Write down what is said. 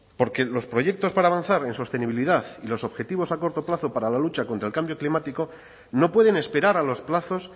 porque los proyectos para avanzar en sostenibilidad y los objetivos a corto plazo para la lucha contra el cambio climático no pueden esperar a los plazos